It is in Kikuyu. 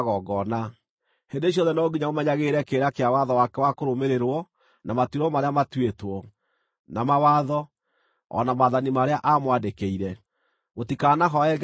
Hĩndĩ ciothe no nginya mũmenyagĩrĩre kĩrĩra kĩa watho wake wa kũrũmĩrĩrwo na matuĩro marĩa matuĩtwo, na mawatho, o na maathani marĩa aamwandĩkĩire. Mũtikanahooe ngai ingĩ.